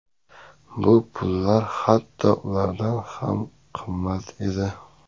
Bu pullar hatto ulardan ham qimmatli edi.